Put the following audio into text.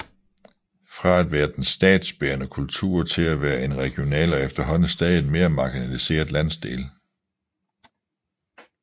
Fra at være den statsbærende kultur til at være en regional og efterhånden stadigt mere marginaliseret landsdel